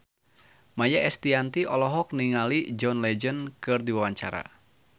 Maia Estianty olohok ningali John Legend keur diwawancara